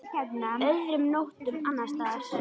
Öðrum nóttum annars staðar?